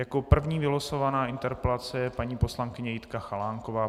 Jako první vylosovaná interpelace je paní poslankyně Jitka Chalánková.